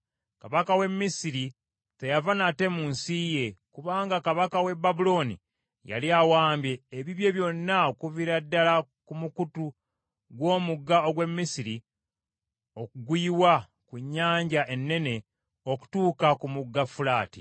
Kabaka w’e Misiri teyava nate mu nsi ye, kubanga kabaka w’e Babulooni yali awambye ebibye byonna okuviira ddala ku mukutu gw’Omugga ogw’e Misiri oguyiwa ku Nnyanja Ennene okutuuka ku Mugga Fulaati.